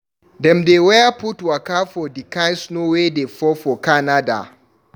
Dem dey wear put waka for di kind snow wey dey fall for Canada.